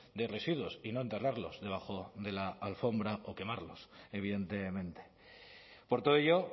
de residuos y no enterrarlos debajo de la alfombra o quemarlos evidentemente por todo ello